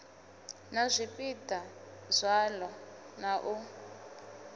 na zwipiḓa zwaḽo na u